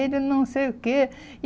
Ele não sei o quê.